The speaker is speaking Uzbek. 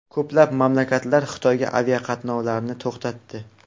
Ko‘plab mamlakatlar Xitoyga aviaqatnovlarni to‘xtatdi.